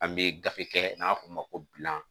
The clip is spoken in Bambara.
An bɛ gafe kɛ n'an b'a f'o ma ko bilan